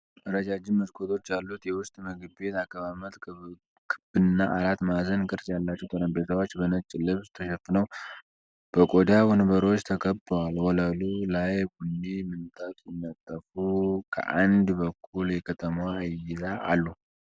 ረጃጅም መስኮቶች ያሉት የውስጥ ምግብ ቤት አቀማመጥ። ክብና አራት ማዕዘን ቅርጽ ያላቸው ጠረጴዛዎች በነጭ ልብስ ተሸፍነው፣ በቆዳ ወንበሮች ተከበዋል። ወለሉ ላይ ቡኒ ምንጣፍ ሲነጠፍ፣ ከአንድ በኩል የከተማዋ እይታ አሉ።